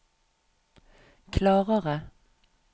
klarere